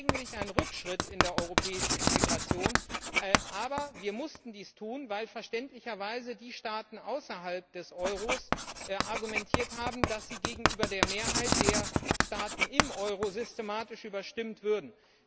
Das ist eigentlich ein Rückschritt in der europäischen Integration, aber wir mussten dies tun, weil verständlicherweise die Staaten außerhalb des Euros argumentiert haben, dass sie gegenüber der Mehrheit der Staaten im Euro systematisch überstimmt würden.